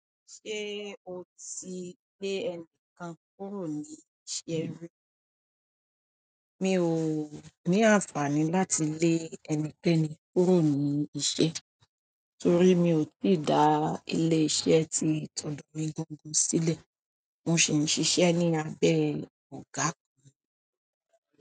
Ṣé o ti lé ẹnìkan kúrò ní iṣẹ́ rí? Mi ò ní àǹfààní láti lé ẹnikẹ́ni kúrò ní iṣẹ́ torí mi ò tíì dá ilé iṣẹ́ tí tòdò mi gangan sílẹ̀. Mo sì ń ṣiṣẹ́ ní abẹ́ ọ̀gá.